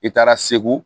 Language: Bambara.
I taara segu